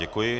Děkuji.